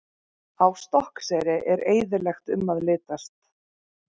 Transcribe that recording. Á Stokkseyri er eyðilegt um að litast.